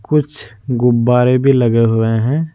कुछ गुब्बारे भी लगे हुए है।